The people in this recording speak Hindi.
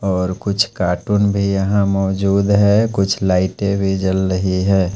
और कुछ कार्टून भी यहां मौजूद हैं कुछ लाइटे भी जल रही हैं।